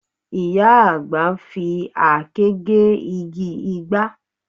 Ìyá àgbà ń fi àáké gé igi ìgbá